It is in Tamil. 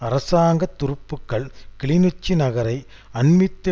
அரசாங்க துருப்புகள் கிளிநொச்சி நகரை அண்மித்து